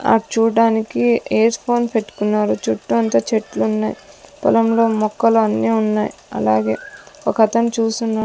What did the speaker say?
ఆ చూడ్డానికి ఎయిర్స్ ఫోన్ పెట్టుకునారు చుట్టూ అంతా చెట్లున్నాయ్ పొలంలో మొక్కలు అన్నీ వున్నాయ్ అలాగే ఒక అతను చూసున్నా --